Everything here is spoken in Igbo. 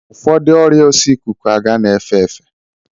Ụfọdụ ọrịa oso ikuku aga na-efe efe